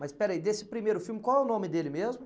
Mas, espera aí, desse primeiro filme, qual é o nome dele mesmo?